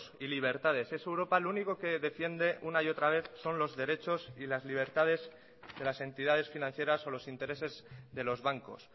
y libertades esa europa lo único que defiende una y otra vez son los derechos y las libertades de las entidades financieras o los intereses de los bancos